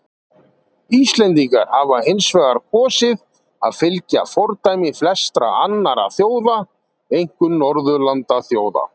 Íslendingar hafa hins vegar kosið að fylgja fordæmi flestra annarra þjóða, einkum Norðurlandaþjóða.